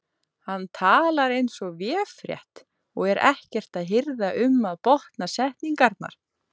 Hann talar eins og véfrétt og er ekkert að hirða um að botna setningarnar.